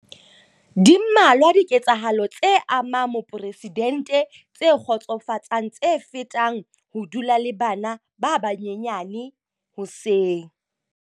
Di mmalwa diketsahalo tse amang moporesidente tse kgotsofatsang tse fetang ho dula le bana ba banyenyane hoseng.